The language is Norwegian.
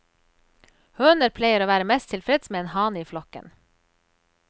Høner pleier å være mest tilfreds med en hane i flokken.